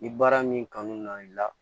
Ni baara min kanu n'i la